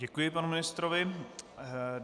Děkuji panu ministrovi.